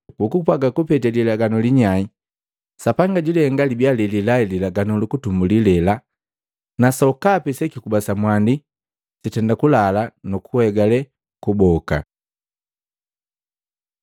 Kukupwaga kupete lilaganu linyai, Sapanga julihenga libia lelilai lilaganu luputumbuli lela; na sokapi sekikuba samwandi sitenda kulala nuku hegale kuboka.